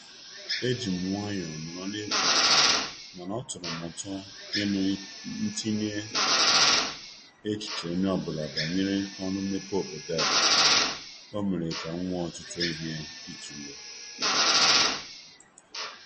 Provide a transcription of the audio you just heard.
E jị m nwayo nọrọ n'ekwughị okwu mana ọ tọrọ m ụtọ ịnụ ntinye echiche onye ọbụla banyere oru mmepe obodo a. O mere ka m nwee ọtụtụ ihe ịtụle."